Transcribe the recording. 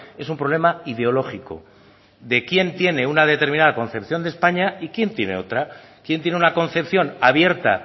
es un problema ideológico de quién tiene una determinada concepción de españa y quién tiene otra quién tiene una concepción abierta